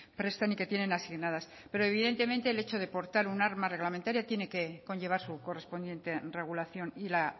prestan y que tienen asignadas pero evidentemente el hecho de portar un arma reglamentaria tiene que conllevar su correspondiente regulación y la